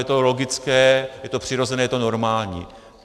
Je to logické, je to přirozené, je to normální.